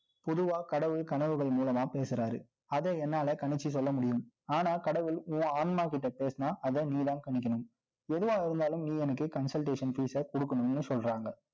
பொதுவா, கடவுள் கனவுகள் மூலமா பேசுறாரு. அதை என்னால கணிச்சு சொல்ல முடியும். ஆனால், கடவுள் உன் ஆன்மாகிட்ட பேசினா, அதை நீதான் கணிக்கணும் எதுவா இருந்தாலும், நீ எனக்கு consultation fees அ கொடுக்கணும்னு சொல்றாங்க